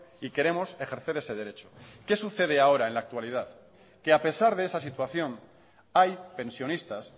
y queremos ejercer ese derecho qué sucede ahora en la actualidad que a pesar de esa situación hay pensionistas